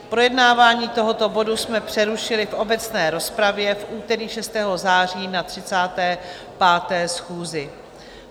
Projednávání tohoto bodu jsme přerušili v obecné rozpravě v úterý 6. září na 35. schůzi.